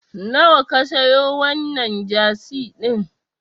Nawa ka siyo wannan Jasi din?